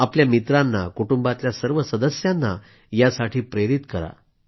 आपल्या मित्रांना कुटुंबातल्या सर्व सदस्यांना यासाठी प्रेरित करा